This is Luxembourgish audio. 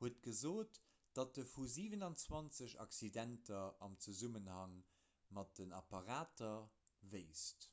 huet gesot datt e vu 27 accidenter am zesummenhang mat den apparater wéisst